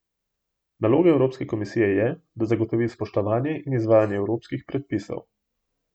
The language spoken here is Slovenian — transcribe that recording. Naloga evropske komisije je, da zagotovi spoštovanje in izvajanje evropskih predpisov.